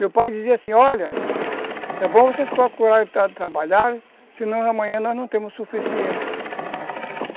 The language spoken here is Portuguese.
Meu pai dizia assim, olha, é bom vocês procurarem tra trabalhar, senão amanhã nós não teremos o suficiente.